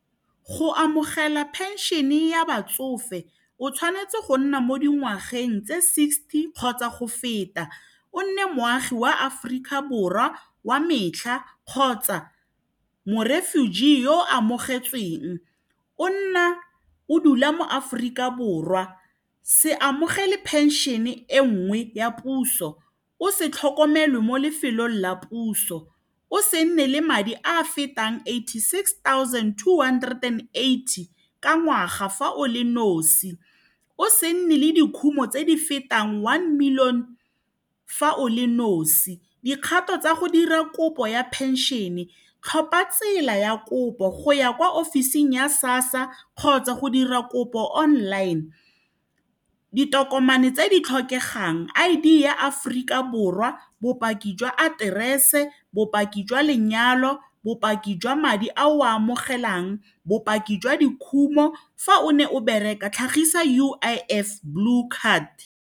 Go amogela pension-e ya batsofe o tshwanetse go nna mo dingwageng tse sixty kgotsa go feta o nne moagi wa Aforika Borwa wa metlha kgotsa mo-refuge yo o amogetsweng o nna o dula mo Aforika Borwa se amogele phenšene e nngwe ya puso, o se tlhokomelwe mo lefelong la puso o se nne le madi a a fetang eighty six thousand two hundred and eighty ka ngwaga fa o le nosi o se nne le dikhumo tse di fetang one million fa o le nosi dikgato tsa go dira kopo ya pension-e tlhopha tsela ya kopo go ya kwa office-ing ya SASSA kgotsa go dira kopo online ditokomane tse di tlhokegang I_D ya Aforika Borwa, bopaki jwa aterese, bopaki jwa lenyalo, bopaki jwa madi a o a amogelang, bopaki jwa dikhumo, fa o ne o bereka tlhagisa U_I_F blue card.